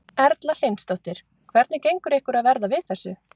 Erla Hlynsdóttir: Hvernig gengur ykkur að verða við þessu?